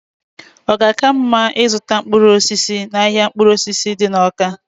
ọ ga-aka mma ịzụta mkpụrụ osisi n'ahịa mkpụrụ osisi dị n'Awka?